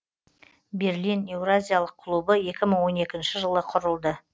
берлин еуразиялық клубы екі мың он екінші жылы құрылды